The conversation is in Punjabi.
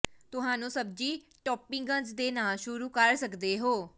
ਤੁਹਾਨੂੰ ਸਬਜ਼ੀ ਟੌਪਿੰਗਜ਼ ਦੇ ਨਾਲ ਸ਼ੁਰੂ ਕਰ ਸਕਦੇ ਹੋ